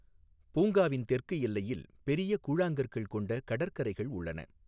பூங்காவின் தெற்கு எல்லையில் பெரிய கூழாங்கற்கள் கொண்ட கடற்கரைகள் உள்ளன.